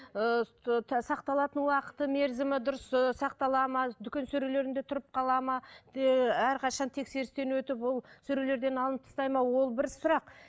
сақталатын уақыты мерзімі дұрыс ыыы сақталады ма дүкен сөрелерінде тұрып қалады ма әрқашан тексерістен өтіп ол сөрелерден алынып тастайды ма ол бір сұрақ